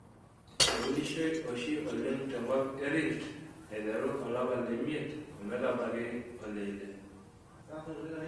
Eunishoi oshi oleng te kop kop e Rift aiteru olapa le miet ometabaiki ole ile.